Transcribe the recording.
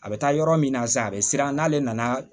A bɛ taa yɔrɔ min na sisan a bɛ siran n'ale nana